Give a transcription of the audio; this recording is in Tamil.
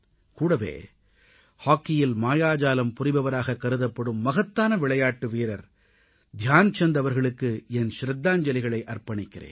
கூடவே ஹாக்கியில் மாயாஜாலம் புரிபவராக கருதப்படும் மகத்தான விளையாட்டு வீரர் தியான்சந்த் அவர்களுக்கு என் ஷிரதாஞ்சலிகளை அர்ப்பணிக்கிறேன்